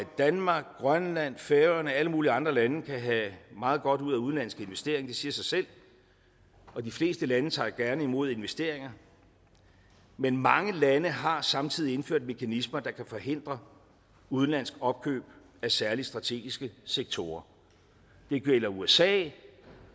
danmark grønland færøerne og alle mulige andre lande kan have meget godt ud af udenlandske investeringer det siger sig selv og de fleste lande tager gerne imod investeringer men mange lande har samtidig indført mekanismer der kan forhindre udenlandske opkøb af særlig strategiske sektorer det gælder usa